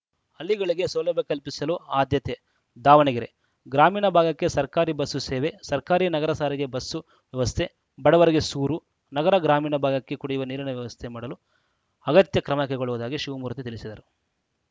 ಹಳ್ಳಿಗಳಿಗೆ ಸೌಲಭ್ಯ ಕಲ್ಪಿಸಲು ಆದ್ಯತೆ ದಾವಣಗೆರೆ ಗ್ರಾಮೀಣ ಭಾಗಕ್ಕೆ ಸರ್ಕಾರಿ ಬಸ್ಸು ಸೇವೆ ಸರ್ಕಾರಿ ನಗರ ಸಾರಿಗೆ ಬಸ್ಸು ವ್ಯವಸ್ಥೆ ಬಡವರಿಗೆ ಸೂರು ನಗರಗ್ರಾಮೀಣ ಭಾಗಕ್ಕೆ ಕುಡಿಯುವ ನೀರಿನ ವ್ಯವಸ್ಥೆ ಮಾಡಲು ಅಗತ್ಯ ಕ್ರಮ ಕೈಗೊಳ್ಳುವುದಾಗಿ ಶಿವಮೂರ್ತಿ ತಿಳಿಸಿದರು